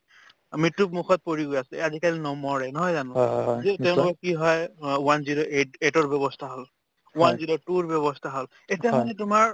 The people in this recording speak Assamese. মৃত্যুৰ মুখত পৰি গৈ আছে আজিকালি নমৰে নহয় জানো যে তেওঁলোকৰ কি হয় অ one zero eight eight ৰ ব্যৱস্থা হল one zero two ৰ ব্যৱস্থা হল এতিয়া মানে তোমাৰ